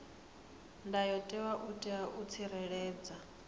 ndayotewa u itela u tsireledza